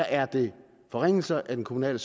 er det forringelser af den kommunale